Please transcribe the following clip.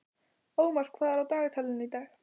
Ómar, hvað er á dagatalinu í dag?